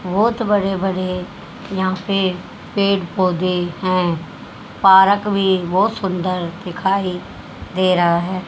बहोत बड़े बड़े यहां पे पेड़ पौधे हैं पारक भी बहुत सुंदर दिखाई दे रहा है।